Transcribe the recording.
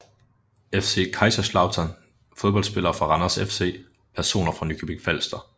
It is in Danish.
FC Kaiserslautern Fodboldspillere fra Randers FC Personer fra Nykøbing Falster